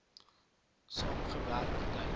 saam gewerk lyk